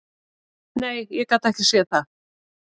Nei, ég gat ekki séð það.